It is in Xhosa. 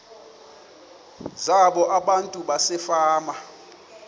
zabo abantu basefama